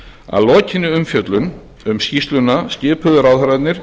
að lokinni umfjöllun um skýrsluna skipuðu ráðherrarnir